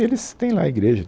E eles têm lá a igreja.